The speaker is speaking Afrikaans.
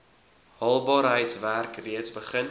haalbaarheidswerk reeds begin